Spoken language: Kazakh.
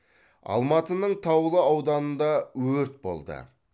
алматының таулы ауданында өрт болды